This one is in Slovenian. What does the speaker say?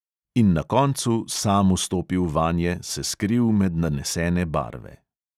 In na koncu sam vstopil vanje, se skril med nanesene barve.